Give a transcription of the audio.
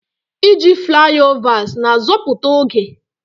Iji flyovers na-azọpụta oge.